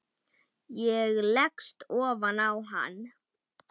Ég leggst ofan á hann.